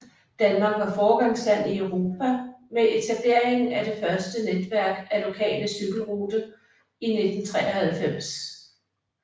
Danmark var foregangsland i Europa med etableringen af det første netværk af nationale cykelrute i 1993